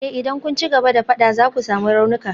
Eh idan kun ci gaba da fada za ku sami raunuka.